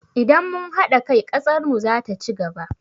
Idan mun haɗa kai, ƙasar mu zata ci gaba.